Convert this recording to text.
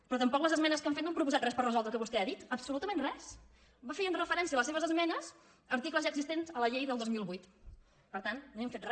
però tampoc les esmenes que han fet no han proposat res per resoldre el que vostè ha dit absolutament res feien referència les seves esmenes a articles ja existents a la llei del dos mil vuit per tant no hi ha fet re